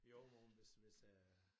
Jo nogen hvis hvis øh